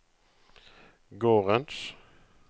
gårdens